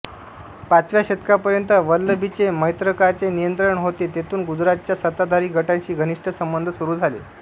पाचव्या शतकापर्यंत वल्लभीचे मैत्रकाचे नियंत्रण होते तेथून गुजरातच्या सत्ताधारी गटांशी घनिष्ट संबंध सुरू झाले